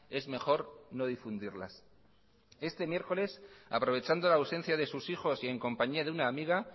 es mejor no difundirlas este miércoles aprovechando la ausencia de sus hijos y en compañía de una amiga